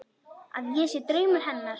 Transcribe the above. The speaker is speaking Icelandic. Að ég sé draumur hennar.